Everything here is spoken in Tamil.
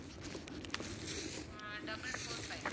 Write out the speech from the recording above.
ah double four five